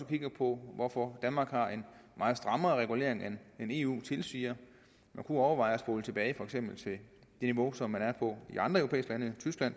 kigge på hvorfor danmark har en meget strammere regulering end eu tilsiger man kunne overveje at spole tilbage til for eksempel det niveau som de er på i andre lande